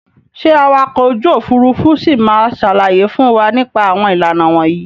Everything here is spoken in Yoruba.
Ṣé awakọ̀ ojú òfuurufú ṣì ma sàlàyé fún wa nípa àwọn ìlànà wọ̀nyí?